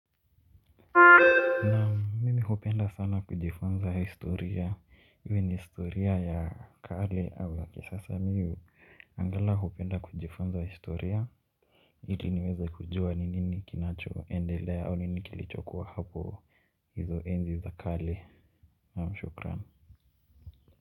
Mimi hupenda sana kujifunza historia, iwe ni historia ya kale au ya kisasa mimi, angalau hupenda kujifunza historia. Ili niweze kujua ni nini kinachoendele au ni nini kilichokuwa hapo. Hizo enzi za kale, naam shukran.